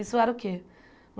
Isso era o quê?